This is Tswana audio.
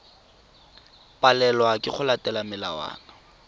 palelwa ke go latela melawana